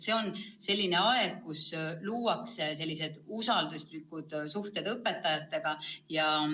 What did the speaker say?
See on aeg, kus luuakse usalduslikud suhted õpetajatega.